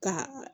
Ka